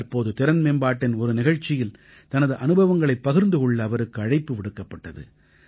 தற்போது திறன்மேம்பாட்டின் ஒரு நிகழ்ச்சியில் தனது அனுபவங்களைப் பகிர்ந்து கொள்ள அவருக்கு அழைப்பு விடுக்கப்பட்டது